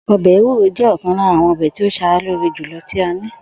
O̩bè̩ ewú̩ro jé̩ ò̩kan lára àwo̩n o̩bè̩ tí ó s̩ara lóore jù lo tí a ní